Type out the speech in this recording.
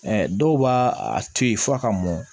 dɔw b'a a to yen f'a ka mɔn